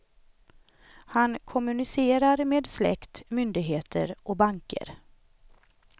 Han kommunicerar med släkt, myndigheter och banker.